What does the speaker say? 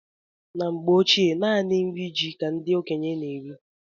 Na mgbe ochie naanị nri ji ka ndị okenye n'eri